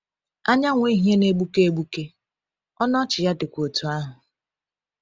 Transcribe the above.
Anyanwụ ehihie na-egbuke egbuke, ọnụ ọchị ya dịkwa otú ahụ.